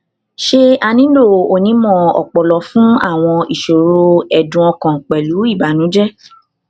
ṣé a nílò onímọ ọpọlọ fún àwọn ìṣòro ẹdùn ọkàn pẹlú ìbànújẹ